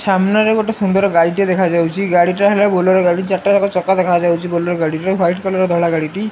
ସାମ୍ନାରେ ଗୋଟେ ସୁନ୍ଦର ଗାଡ଼ି ଟେ ଦେଖା ଯାଉଚି ଗାଡ଼ିଟା ହେଲା ବୋଲେରୋ ଗାଡି ଚାରିଟା ଯାକ ଚକା ଦେଖା ଯାଉଚି ବୋଲେରୋ ଗାଡିର ହ୍ୱାଇଟ କଲର ଧଳା ଗାଡିଟି।